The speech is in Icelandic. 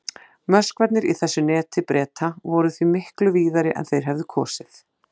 Möskvarnir í þessu neti Breta voru því miklu víðari en þeir hefðu kosið.